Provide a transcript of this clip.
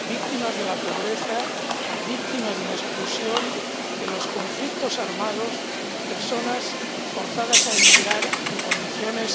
víctimas de la pobreza, víctimas de la exclusión, de los conflictos armados, personas forzadas a emigrar en condiciones